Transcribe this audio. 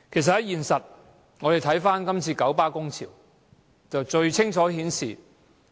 事實上，這次九巴工潮最能清楚顯示